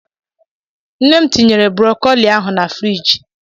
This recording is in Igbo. Nne m tinyere brokoli ahụ na friji.